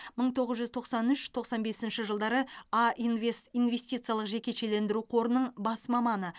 мың тоғыз жүз тоқсан үш тоқсан бесінші жылдары а инвест инвестициялық жекешелендіру қорының бас маманы